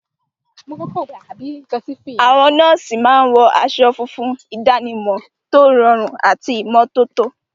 Àwọn nọ́ọ̀sì máa ń wọ aṣọ fún ìdánimọ̀ tó rọrùn àti ìmọ́tótó.